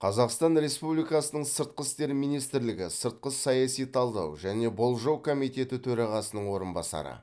қазақстан республикасының сыртқы істер министрлігі сыртқы саяси талдау және болжау комитеті төрағасының орынбасары